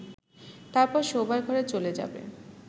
তারপর শোবার ঘরে চলে যাবে